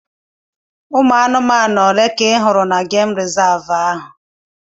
Ụmụ anụmanụ ole ka ị hụrụ na gemụ rizavụ ahụ?